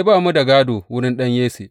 Ba mu da gādo wurin ɗan Yesse.